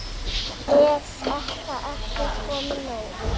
Er þetta ekki komið nóg?